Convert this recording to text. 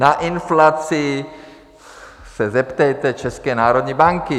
Na inflaci se zeptejte České národní banky.